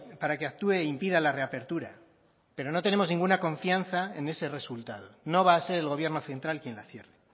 para que actúe e impida la reapertura pero no tenemos ninguna confianza en ese resultado no va a ser el gobierno central quien la cierre